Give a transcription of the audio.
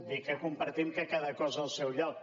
dir que compartim que cada cosa al seu lloc